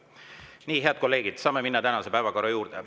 Nii, head kolleegid, saame minna tänase päevakorra juurde.